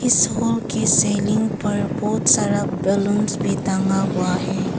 इस हॉल के सीलिंग पर बहोत सारा बलूंस भी टंगा हुआ है।